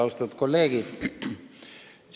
Austatud kolleegid!